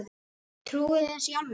Trúi þið þessu í alvöru?